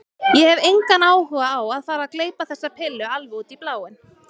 Ég hef engan áhuga á að fara að gleypa þessa pillu alveg út í bláinn.